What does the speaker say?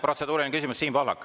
Protseduuriline küsimus, Siim Pohlak.